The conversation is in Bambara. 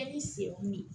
E bi se kun ye